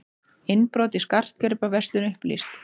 Innbrot í skartgripaverslun upplýst